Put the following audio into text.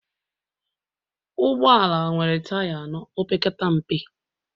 Ụgbọ ala nwere taya anọ opekata mpe